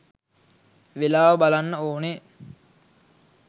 වේලාව බලන්න ඕනේ